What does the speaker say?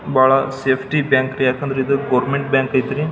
ಬಹಳ safety bank ರೀ ಯಾಕಂದ್ರೆ ಇದು ಗೋವರ್ನಮೆಂಟ್ ಬ್ಯಾಂಕ್ ಆಯ್ತ್ರಿ.